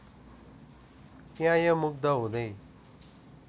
प्याएँ मुग्ध हुँदै